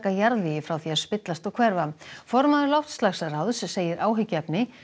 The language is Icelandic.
jarðvegi frá því að spillast og hverfa formaður loftslagsráðs segir áhyggjuefni